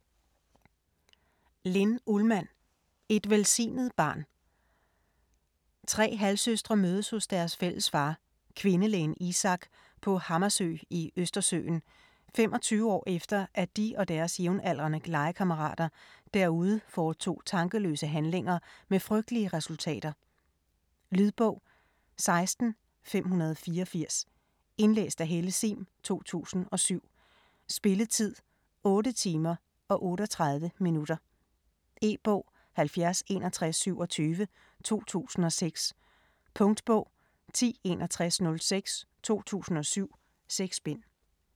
Ullmann, Linn: Et velsignet barn Tre halvsøstre mødes hos deres fælles far, kvindelægen Isak, på Hammarsö i Østersøen, 25 år efter at de og deres jævnaldrende legekammerater derude foretog tankeløse handlinger med frygtelige resultater. Lydbog 16584 Indlæst af Helle Sihm, 2006. Spilletid: 8 timer, 38 minutter. E-bog 706127 2006. Punktbog 106106 2007. 6 bind.